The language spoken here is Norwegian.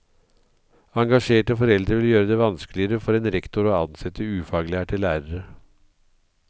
Engasjerte foreldre vil gjøre det vanskeligere for en rektor å ansette ufaglærte lærere.